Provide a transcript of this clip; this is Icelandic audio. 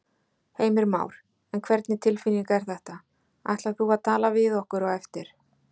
Heimir Már: En hvernig tilfinning er þetta, ætlar þú að tala við okkur á eftir?